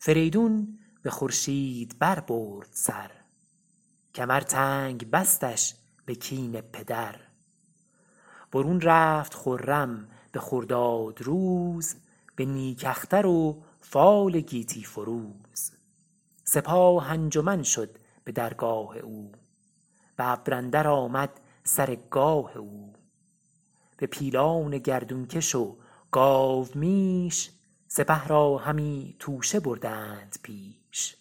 فریدون به خورشید بر برد سر کمر تنگ بستش به کین پدر برون رفت خرم به خرداد روز به نیک اختر و فال گیتی فروز سپاه انجمن شد به درگاه او به ابر اندر آمد سر گاه او به پیلان گردون کش و گاومیش سپه را همی توشه بردند پیش